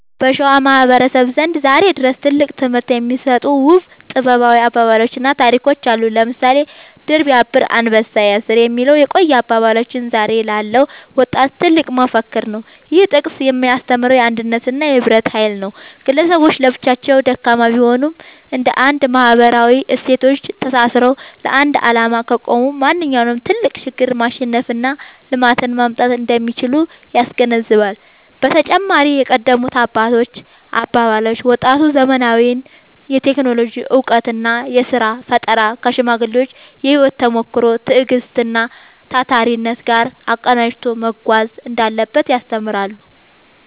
በሸዋ ማህበረሰብ ዘንድ ዛሬም ድረስ ትልቅ ትምህርት የሚሰጡ ውብ ጥበባዊ አባባሎችና ታሪኮች አሉ። ለምሳሌ «ድር ቢያብር አንበሳ ያስር» የሚለው የቆየ አባባላችን ዛሬ ላለው ወጣት ትልቅ መፈክር ነው። ይህ ጥቅስ የሚያስተምረው የአንድነትንና የህብረትን ኃይል ነው። ግለሰቦች ለብቻቸው ደካማ ቢሆኑም፣ እንደ አንድ ማህበራዊ እሴቶች ተሳስረው ለአንድ ዓላማ ከቆሙ ማንኛውንም ትልቅ ችግር ማሸነፍና ልማትን ማምጣት እንደሚችሉ ያስገነዝባል። በተጨማሪም የቀደሙት አባቶች አባባሎች፣ ወጣቱ ዘመናዊውን የቴክኖሎጂ እውቀትና የሥራ ፈጠራ ከሽማግሌዎች የህይወት ተሞክሮ፣ ትዕግስትና ታታሪነት ጋር አቀናጅቶ መጓዝ እንዳለበት ያስተምራሉ።